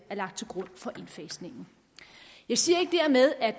er lagt til grund for indfasningen jeg siger ikke dermed at